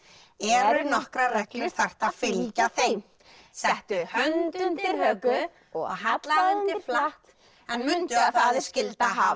eru nokkrar reglur þarft að fylgja þeim settu hönd undir höku og hallaðu undir flatt en mundu að það er skylda að hafa